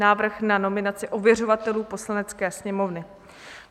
Návrh na nominaci ověřovatelů Poslanecké sněmovny